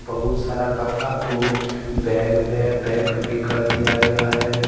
बहुत सारा कपड़ा को बैग में पैक भी कर दिया गया है।